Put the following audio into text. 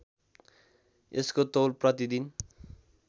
यसको तौल प्रतिदिन